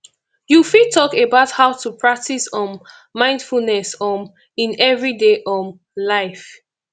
you fit talk about how to practice um mindfulness um in everyday um life